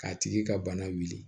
K'a tigi ka bana wuli